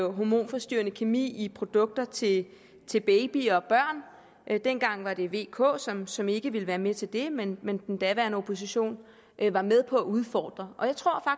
hormonforstyrrende kemi i produkter til til babyer og børn dengang var det v og k som som ikke ville være med til det men men den daværende opposition var med på at udfordre jeg tror